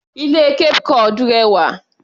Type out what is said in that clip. Ilé Cape cod rẹwà.